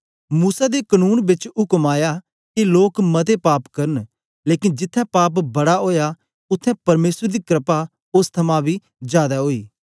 मूसा दे कनून बेच उक्म आया के लोक मते पाप करन लेकन जिथें पाप बड़ा ओया उत्थें परमेसर दी क्रपा ओस थमां बी जादै ओई